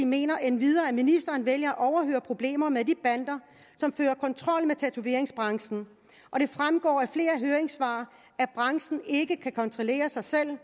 mener endvidere at ministeren vælger at overhøre problemerne med de bander som fører kontrol med tatoveringsbranchen det fremgår af flere høringssvar at branchen ikke kan kontrollere sig selv